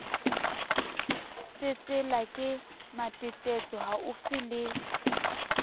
tsetsela ke matetetso haufi le